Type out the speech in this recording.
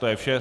To je vše.